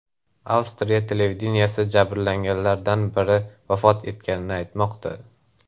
Avstriya televideniyesi jabrlanganlardan biri vafot etganini aytmoqda.